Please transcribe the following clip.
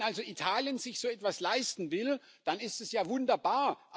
Wenn also Italien sich so etwas leisten will, dann ist es ja wunderbar.